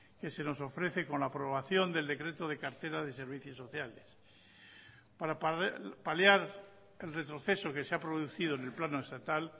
que se nos ofrece con la aprobación del decreto de cartera de servicios sociales para paliar el retroceso que se ha producido en el plano estatal